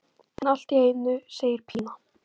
En allt í einu segir Pína.